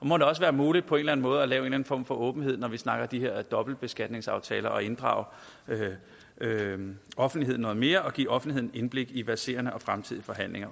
må det også være muligt på en eller anden måde at lave en form for åbenhed når vi snakker de her dobbeltbeskatningsaftaler altså at inddrage offentligheden noget mere og give offentligheden indblik i verserende og fremtidige forhandlinger